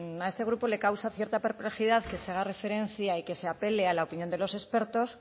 a este grupo le causa cierta perplejidad que se haga referencia y que se apele a la opinión de los expertos